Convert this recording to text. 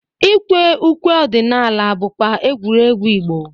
Ikwe ukwe ọdịnaaka bụkwa egwuregwu Igbo.